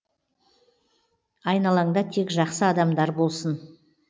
айналаңда тек жақсы адамдар болсын